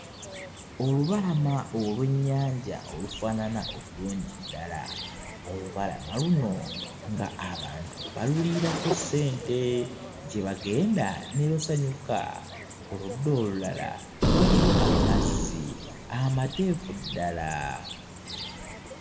Olubala olw'ennyanja olufaanana obulungi ddala. Olubalama luno ng'abantu baluliirako ssente gye bagenda ne basanyuka. Ku ludda olulala waliyo amazzi amateefu ddala.